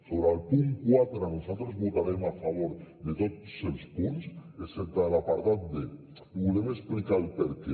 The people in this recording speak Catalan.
sobre el punt quatre nosaltres votarem a favor de tots els punts excepte de l’apartat d i volem explicar el perquè